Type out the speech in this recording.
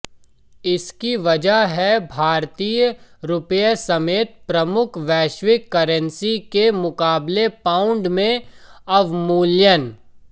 इसकी वजह है भारतीय रुपये समेत प्रमुख वैश्विक करेंसी के मुकाबले पाउंड में अवमूल्यन